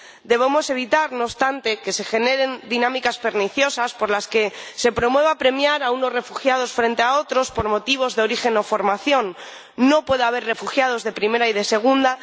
Debemos evitar, no obstante, que se generen dinámicas perniciosas por las que se promueva premiar a unos refugiados frente a otros por motivos de origen o formación no puede haber refugiados de primera y de segunda